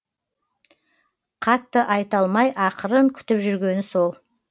қатты айта алмай ақырын күтіп жүргені сол